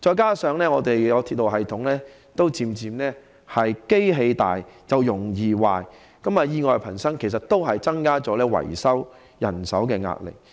況且，鐵路系統已漸漸步入"機械老，容易壞"的情況，以致意外頻生，也增加了維修人手的壓力。